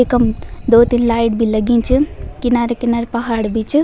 इकम दो-तीन लाइट भी लगीं च किनारा-किनारा पहाड़ भी च।